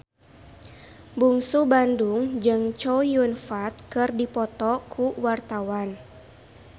Bungsu Bandung jeung Chow Yun Fat keur dipoto ku wartawan